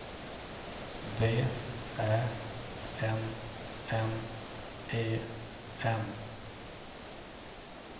V Ä N N E N